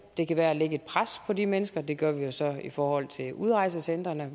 det kan være at lægge et pres på de mennesker det gør vi jo så i forhold til udrejsecentrene